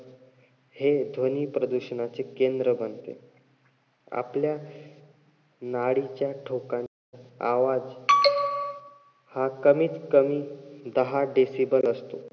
हे ध्वनी प्रदूषणाचे केंद्र बनते. आपल्या नाडीच्या ठोका~ आवाज हा कमीतकमी दहा decible असतो.